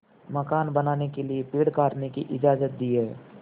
मकान बनाने के लिए पेड़ काटने की इजाज़त दी है